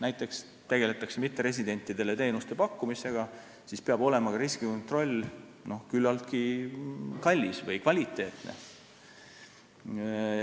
Näiteks, kui tegeldakse mitteresidentidele teenuste pakkumisega, siis peab olema ka riskikontroll küllaltki kallis või kvaliteetne.